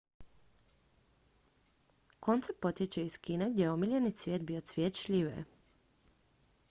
koncept potječe iz kine gdje je omiljeni cvijet bio cvijet šljive